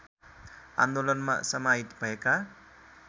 आन्दोलनमा समाहित भएका